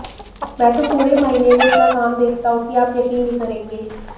मैं तो पूरे महीने में इतना कम देखता हूँ कि आप यक़ीन नहीं करेंगे